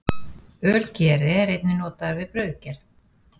Ölgeri er einnig notaður við brauðgerð.